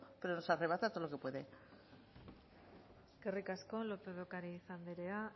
pero nos arrebata todo lo que puede eskerrik asko lópez ocariz andrea